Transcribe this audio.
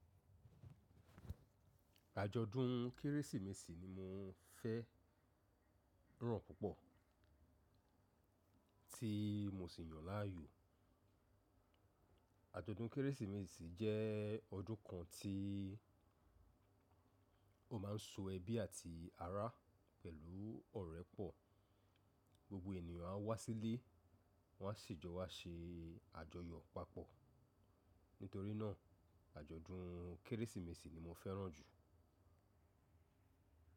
Àjọ̀dún Kérésìmesì ni mo fẹ́ ràn púpọ̀ tí mo sì yàn láàyò. Àjọ̀dún Kérésìmesì jẹ́ ọdún kan tí ó ma ń so ẹbí àti ará pẹ̀lú ọ̀rẹ́ pọ̀. Gbogbo ènìyàn á wá sílé wọ́n á sì jọ wá ṣe àjọyọ̀ papọ̀. Nítorí náà àjọ̀dún Kérésìmesì ni mo fẹ́ràn jù.